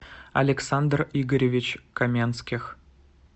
александр игоревич каменских